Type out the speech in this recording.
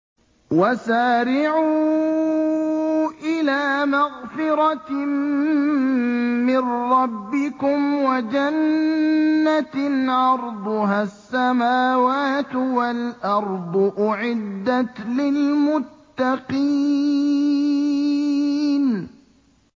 ۞ وَسَارِعُوا إِلَىٰ مَغْفِرَةٍ مِّن رَّبِّكُمْ وَجَنَّةٍ عَرْضُهَا السَّمَاوَاتُ وَالْأَرْضُ أُعِدَّتْ لِلْمُتَّقِينَ